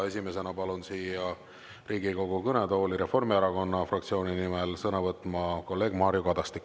Esimesena palun Riigikogu kõnetooli Reformierakonna fraktsiooni nimel sõna võtma kolleeg Mario Kadastiku.